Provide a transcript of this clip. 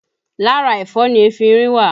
Lára ẹ̀fọ́ ni efinrin wà